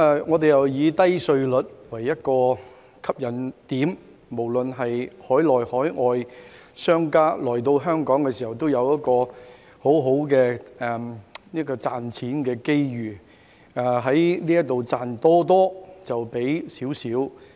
我們又以低稅率為吸引點，讓海內、海外商家來到香港都有很好的賺錢機遇，可以賺多多但付少少。